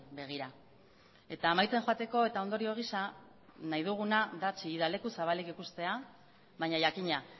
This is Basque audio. begira eta amaitzen joateko eta ondorio gisa nahi duguna da chillida leku zabalik ikustea baina jakina